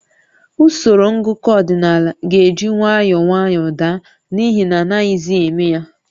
Usoro ngụkọ ọdịnaala ga-eji nwayọọ nwayọọ daa n'ihi na anaghịzi eme ya